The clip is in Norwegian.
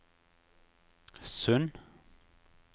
Sund